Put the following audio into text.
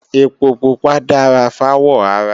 Ẹpo pupa dára fáwọ̀ ara